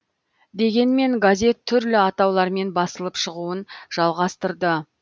дегенмен газет түрлі атаулармен басылып шығуын жалғастырды